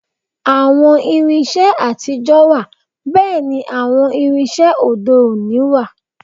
Àwọn irinṣẹ́ àtijọ́ wà bẹ́ẹ̀ ni àwọn irinṣẹ́ òde-òní òní wà